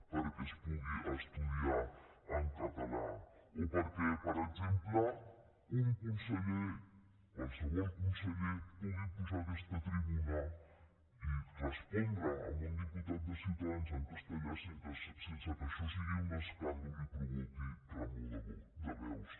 perquè es pugui estudiar en català o perquè per exemple un conseller qualsevol conseller pugui pujar a aquesta tribuna i respondre a un diputat de ciutadans en castellà sense que això sigui un escàndol i provoqui remor de veus